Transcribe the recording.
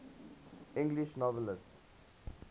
english novelists